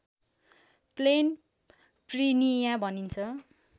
plain prinia भनिन्छ